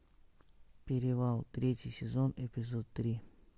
перевал третий сезон эпизод три